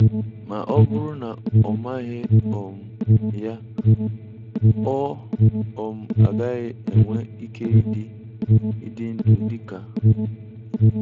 Ma ọ bụrụ na ọ maghị um ya, ọ um gaghị enwe ike ịdị ịdị ndụ dị ka